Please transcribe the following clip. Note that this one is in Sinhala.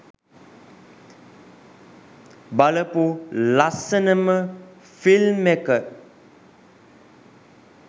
බලපු ලස්සනම ෆිල්ම් එක.